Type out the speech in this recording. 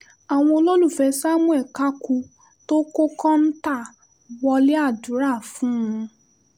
àwọn olólùfẹ́ samuel kaku tó kọ́ kóńtà wọlé àdúrà fún un